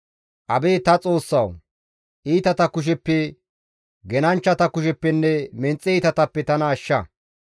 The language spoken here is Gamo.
Abeet ta Xoossawu! Iitata kusheppe, genanchchatappenne menxe iitatappe tana ashsha.